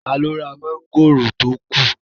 Taló ra mọ́ngòrò tó kù?